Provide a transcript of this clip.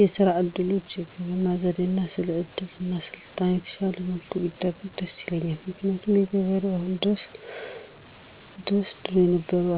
የስራ እድሎች፣ የግብርና ዘዴ እና ስለ እድገት እና ስልጣኔ በተሻለ መልኩ ቢደርስ ደስ ይለኛል። ምክንያቱም ገበሬው አሁን ድረስ ድሮ የነበረውን